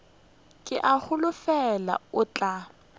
ke a holofela o tla